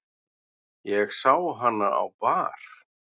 Ég sá hana á bar.